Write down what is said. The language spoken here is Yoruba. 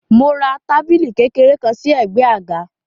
Mo ra tábìlì kékeré kan sí ẹ̀gbẹ́ àga.